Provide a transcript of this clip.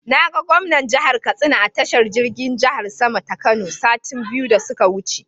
Na ga gwamnan jihar Katsina a tashar jirgin jihar sama ta Kano sati biyu da su ka wuce.